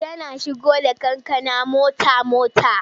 Yana shigo da kankana mota-mota.